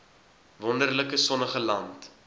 wonderlike sonnige land